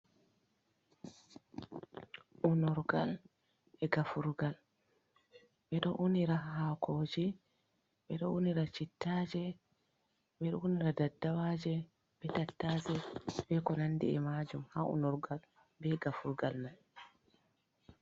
Unirgal e gafurgal. Ɓeɗo unira hakoje, ɓeɗo unira cittaje ɓe ɗo unira daddawaje be tattashe , be konandi e majum ha unurgal be gafurgal mai.